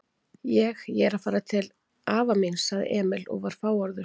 Ég. ég er að fara til afa míns, sagði Emil og var fáorður.